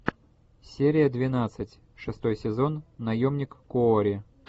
серия двенадцать шестой сезон наемник куорри